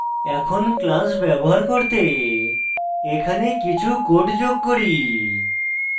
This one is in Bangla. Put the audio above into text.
এখন class ব্যবহার করতে এখানে কিছু code যোগ করি